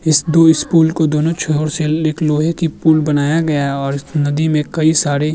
इस दोनों छोर से एक लोहे की पुल बनाया गया है और इस नदी में कई सारे --